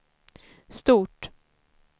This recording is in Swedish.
stort